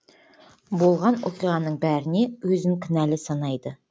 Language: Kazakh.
болған оқиғаның бәріне өзін кінәлі санайды